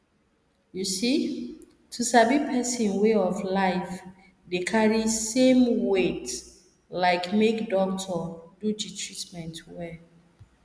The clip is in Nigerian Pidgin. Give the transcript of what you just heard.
you see to sabi person way of life dey carry same weight like make doctor do the treatment well